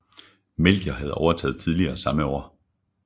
Melchior havde overtaget tidligere samme år